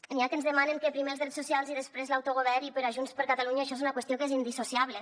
n’hi ha que ens demanen que primer els drets socials i després l’autogovern i per a junts per catalunya això és una qüestió que és indissociable